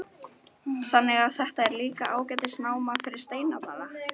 Þannig að þetta er líka ágætis náma fyrir steinasafnara?